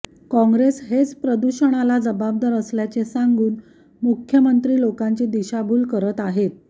काँग्रेस हेच प्रदूषणाला जबाबदार असल्याचे सांगून मुख्यमंत्री लोकांची दिशाभूल करत आहेत